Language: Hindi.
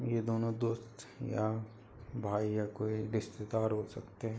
ये दोनों दोस्त या भाई या कोई रिश्तेदार हो सकते है।